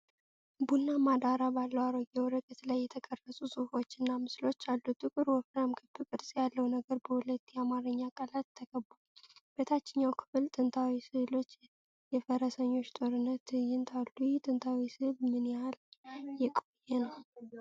ቡናማ ዳራ ባለው አሮጌ ወረቀት ላይ የተቀረጹ ፅሁፎችና ምስሎች አሉ። ጥቁር ወፍራም ክብ ቅርፅ ያለው ነገር በሁለት የአማርኛ ቃላት ተከቧል። በታችኛው ክፍል ጥንታዊ ሥዕሎች የፈረሰኞች ጦርነት ትዕይንት አሉ። ይህ ጥንታዊ ሥዕል ምን ያህል የቆየ ነው?